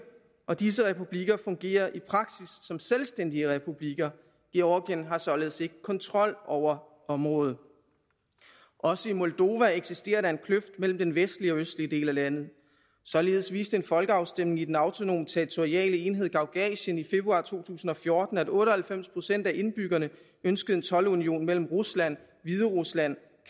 og disse republikker fungerer i praksis som selvstændige republikker georgien har således ikke kontrol over området også i moldova eksisterer der en kløft mellem den vestlige og østlige del af landet således viste en folkeafstemning i den autonome territoriale enhed gagauzien i februar to tusind og fjorten at otte og halvfems procent af indbyggerne ønskede en toldunion mellem rusland hviderusland